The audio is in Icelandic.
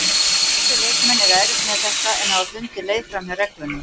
Nokkrir leikmenn eiga erfitt með þetta en hafa fundið leið framhjá reglunum.